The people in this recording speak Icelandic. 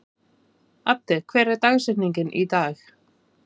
Addi, hver er dagsetningin í dag?